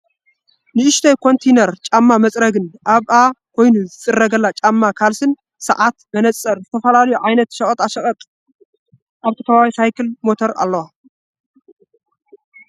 ንእሽተይ ኮንቲነር ጫማ መፅረጊን ኣብኣ ኮይኑ ዝፀርገላ ጫማን ካልስን ፣ሳዓት፣ መነፅር፣ ዝተፈላለዩ ዓይነት ሸቀጣ ሸቀጥን ኣብቲ ከባቢ ሳይክልን ሞተርን ኣለዋ ።